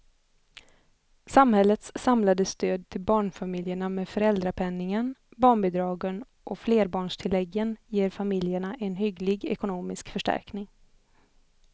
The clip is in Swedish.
Samhällets samlade stöd till barnfamiljerna med föräldrapenningen, barnbidragen och flerbarnstilläggen ger familjerna en hygglig ekonomisk förstärkning.